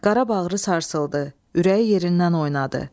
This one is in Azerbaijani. Qara bağrı sarsıldı, ürəyi yerindən oynadı.